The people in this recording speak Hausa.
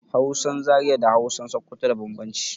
Hausan Zaria da Hausan Sokoto da bambamci